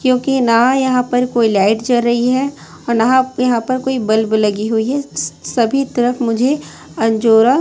क्योंकि ना यहां पर कोई लाइट जर री है और नह यहां पर कोई बल्ब लगी हुई है स सभी तरफ मुझे अंजोरा--